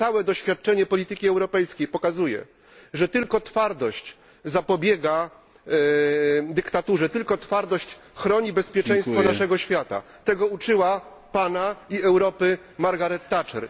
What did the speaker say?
Nie, całe doświadczenie polityki europejskiej pokazuje, że tylko twardość zapobiega dyktaturze, tylko twardość chroni bezpieczeństwo naszego świata tego uczyła Pana i Europę Margaret Thatcher.